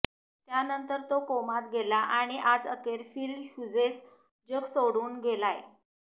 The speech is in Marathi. त्यानंतर तो कोमात गेला आणि आज अखेर फिल ह्युजेस जग सोडून गेलाय